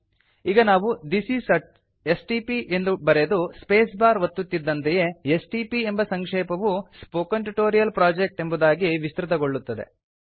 ಈಗ ನಾವು this is a STP ಎಂದು ಬರೆದು ಸ್ಪೇಸ್ ಬಾರ್ ಒತ್ತುತ್ತಿದ್ದಂತೆಯೇ ಎಸ್ಟಿಪಿ ಎಂಬ ಸಂಕ್ಷೇಪವು ಸ್ಪೋಕನ್ ಟ್ಯೂಟೋರಿಯಲ್ ಪ್ರೊಜೆಕ್ಟ್ ಎಂಬುದಾಗಿ ವಿಸ್ತೃತಗೊಳ್ಳುತ್ತದೆ